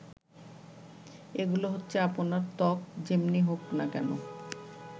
এগুলো হচ্ছে আপনার ত্বক যেমনি হোক না কেন